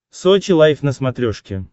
сочи лайв на смотрешке